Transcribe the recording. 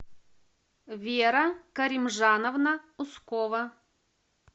вера каримжановна ускова